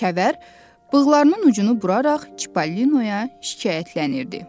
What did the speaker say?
Kəvər bığlarının ucunu buraraq Çipallinoya şikayətlənirdi.